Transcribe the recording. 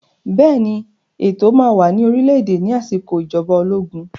Bẹ́ẹ̀ ni, ètò máa wà ní orílẹ̀-èdè ní àsìkò ìjọba ológun